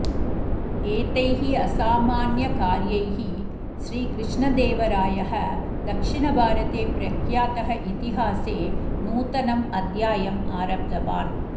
एतैः असामान्य कार्यैः श्रीकृष्णदेवरायः दक्षिण भारते प्रख्यातः इतिहासे नूतनम् अध्यायम् आरब्धवान्